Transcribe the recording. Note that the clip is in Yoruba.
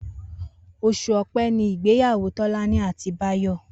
Os̩ù O̩pé̩ ni ìgbéyàwó Tó̩lání àti Báyò̩